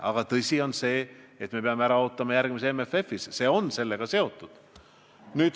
Aga tõsi on see, et me peame ära ootama järgmise MFF-i, see on sellega seotud.